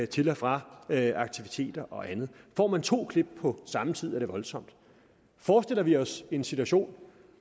til og fra aktiviteter og andet får man to klip på samme tid er det voldsomt forestiller vi os en situation